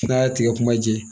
N'a y'a tigɛ kuma jɛ